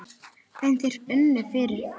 En þeir unnu fyrir gýg.